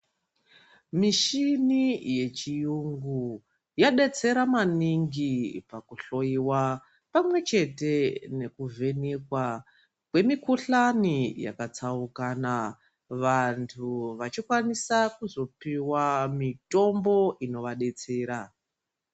Mishini yechiyungu yadetsera maningi pakuhloiwa pamwechete nekuvhenekwa kwemikhuhlani yakatsaukana vantu vachikwanisa kuzopiwa mitombo inovadetsera.